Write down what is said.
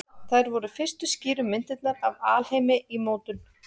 Þær voru fyrstu skýru myndirnar af alheimi í mótun.